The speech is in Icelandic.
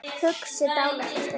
Hugsi dálitla stund.